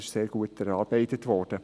Es ist sehr gut erarbeitet worden.